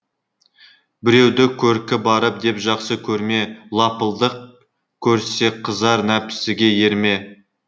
біреуді көркі бары деп жақсы көрме лапылдақ көрсеқызар нәпсіге ерме